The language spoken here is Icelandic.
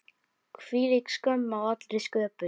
Hvílík skömm á allri sköpun.